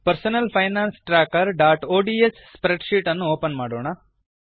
personal finance trackerಒಡಿಎಸ್ spreadsheet ಅನ್ನು open ಮಾಡೋಣ